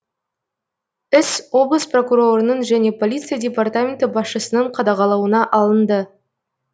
іс облыс прокурорының және полиция департаменті басшысының қадағалауына алынды